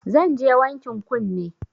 Zanje wankin kunne